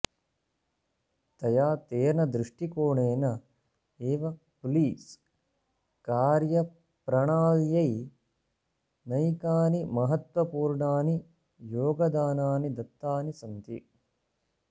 तया तेन दृष्टिकोणेन एव पुलिस् कार्यप्रणाल्यै नैकानि महत्वपूर्णानि योगदानानि दत्तानि सन्ति